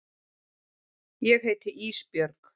Ég heiti Ísbjörg.